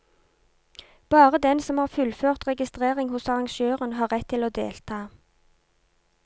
Bare den som har fullført registrering hos arrangøren har rett til å delta.